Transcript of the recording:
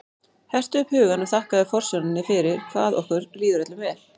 Hertu upp hugann og þakkaðu forsjóninni fyrir hvað okkur líður öllum vel.